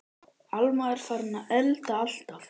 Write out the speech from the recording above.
Alma er farin að elda alltaf.